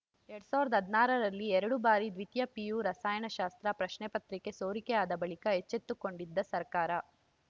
ಎರಡ್ ಸಾವಿರದ ಹದನಾರರಲ್ಲಿ ಎರಡು ಬಾರಿ ದ್ವಿತೀಯ ಪಿಯು ರಸಾಯನಶಾಸ್ತ್ರ ಪ್ರಶ್ನೆಪತ್ರಿಕೆ ಸೋರಿಕೆಯಾದ ಬಳಿಕ ಎಚ್ಚೆತ್ತುಕೊಂಡಿದ್ದ ಸರ್ಕಾರ